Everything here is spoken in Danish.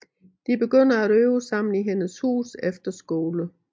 De begynder at øve sammen i hendes hus efter skole